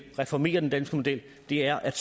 reformere den danske model er at